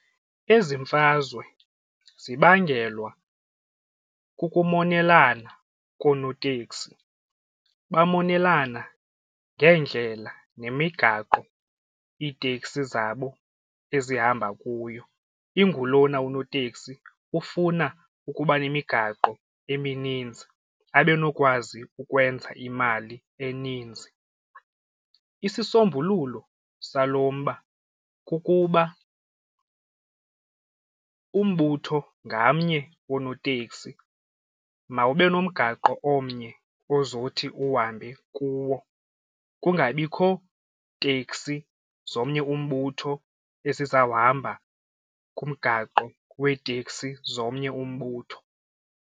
Ezi mfazwe zibangelwa kukumonelana konooteksi bamonelana ngeendlela nemigaqo iiteksi zabo ezihamba kuyo ingulona unoteksi ufuna ukuba nemigaqo emininzi abe nokwazi ukwenza imali eninzi. Isisombululo salo mba kukuba umbutho ngamnye wonooteksi mawube nomgaqo omnye ozothi uhambe kuwo kungabikho teksi zomnye umbutho esizawuhamba kumgaqo weeteksi zomnye umbutho.